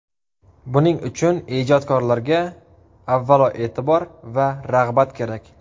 Buning uchun ijodkorlarga, avvalo, e’tibor va rag‘bat kerak.